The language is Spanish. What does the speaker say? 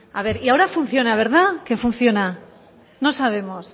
a ver y ahora funciona verdad que funciona no sabemos